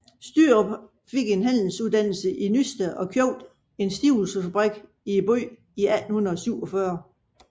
Stürup fik en handelsuddannelse i Nysted og købte en stivelsesfabrik i byen i 1847